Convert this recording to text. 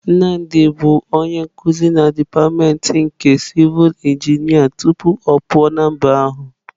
Nnamdi bụ onye nkuzi na dipatịmentị nke sivul injinia tupu ọ pụọ na mba ahụ.